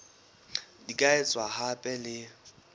di ka etswa hape le